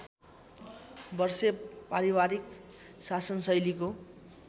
वर्षे पारिवारिक शासनशैलीको